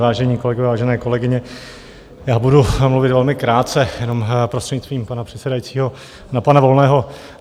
Vážení kolegové, vážené kolegyně, já budu mluvit velmi krátce jenom, prostřednictvím pana předsedajícího, na pana Volného.